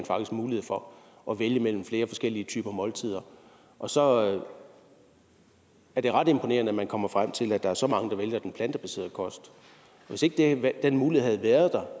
mulighed for at vælge mellem flere forskellige typer måltider og så er det ret imponerende at man kommer frem til at der er så mange der vælger den plantebaserede kost hvis ikke den mulighed havde været der